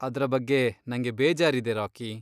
ಅದ್ರ ಬಗ್ಗೆ ನಂಗೆ ಬೇಜಾರಿದೆ, ರಾಕಿ.